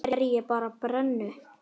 Kannski er ég bara brennu